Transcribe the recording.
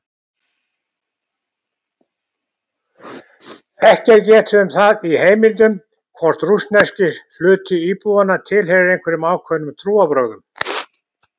Ekki er getið um það í heimildum hvort rússneski hluti íbúanna tilheyrir einhverjum ákveðnum trúarbrögðum.